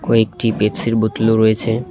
কয়েকটি পেপসির বোতলও রয়েছে।